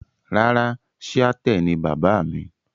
Rárà, Shiaṭṭẹ ni baba mi.